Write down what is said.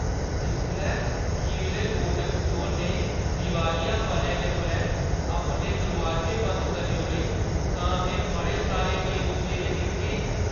जिसलै खीरले Kodak store ने दिवालियेपनै दे परैंत्त अपने दरोआजे बंद करी ओड़े तां में बड़े सारे मायूस चेह्‌रे दिक्खे ।